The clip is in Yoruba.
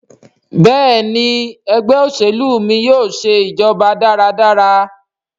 Béèni Ẹgbẹ́ òṣèlú mí yóò ṣe ìjọba dára dára.